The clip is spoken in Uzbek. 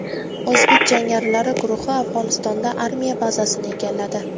O‘zbek jangarilari guruhi Afg‘onistonda armiya bazasini egalladi.